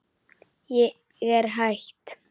Ég er hætt.